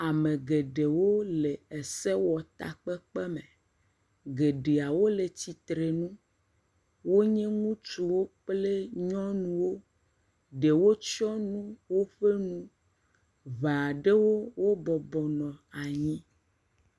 Ame geɖewo le esewɔtakpekpeme. Geɖeawo le tsitrenu. Wonye ŋutsuwo kple nyɔnuwo. Ɖewo tsyɔnu woƒe nu. Ŋee aɖewo, wo bɔbɔ nɔ anyi.